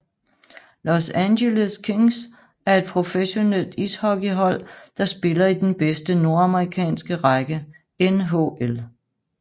Los Angeles Kings er et professionelt ishockeyhold der spiller i den bedste nordamerikanske række NHL